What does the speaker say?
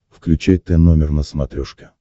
включай тномер на смотрешке